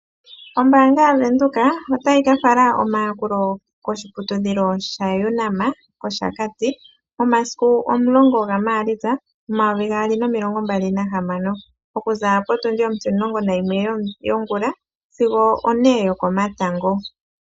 Ombaanga yaVenduka otayi kafala omayakulo koshiputudhilo shaUnam kOshakati momasiku omulongo gaMaalitsa 2026 okuza potundi ontimulungo nayimwe yongula sigo one yokomatango.